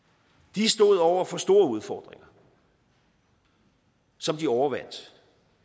de stod over for store udfordringer som de overvandt